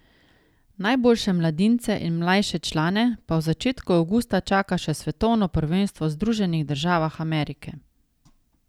Najboljše mladince in mlajše člane pa v začetku avgusta čaka še svetovno prvenstvo v Združenih državah Amerike.